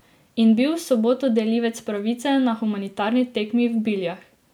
In bil v soboto delivec pravice na humanitarni tekmi v Biljah.